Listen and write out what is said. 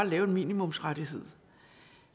lave en minimumsrettighed